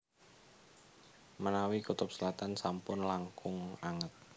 Menawi kutub selatan sampun langkung anget